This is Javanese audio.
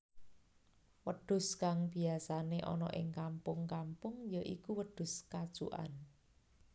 Wedhus kang biyasané ana ing kampung kampung ya iku wedhus kacukan